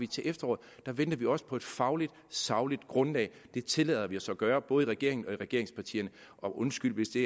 til efteråret der venter vi også på et fagligt sagligt grundlag det tillader vi os at gøre både i regeringen og i regeringspartierne og undskyld hvis det